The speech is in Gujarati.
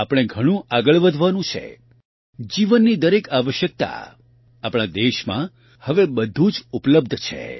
આપણે ઘણું આગળ વધવાનું છે જીવનની દરેક આવશ્યકતા આપણા દેશમાં હવે બધું જ ઉપલબ્ધ છે